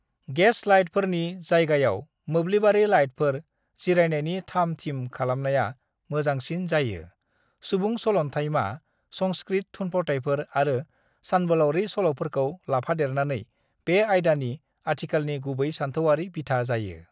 "Gas लाइटफोरनि जायगायाव मोब्लिबारि लाइटफोर; जिरायनायनि थाम-थिम खालामनाया मोजांसिन जायो; सुबुं सलन्थायमा, संस्कृत थुनफावथायफोर आरो सानबोलाउरि सल'फोरखौ लाफादेरनानै बे आइदानि आथिखालनि गुबै सानथौआरि बिथा जायो।"